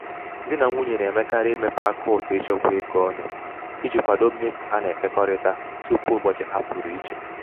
di na nwunye na-emekarị imepe akaụntụ ịchekwa ego ọnụ iji kwado mmefu ha na-ekekọrịta tupu ụbọchị ha pụrụ iche